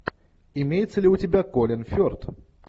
имеется ли у тебя колин ферт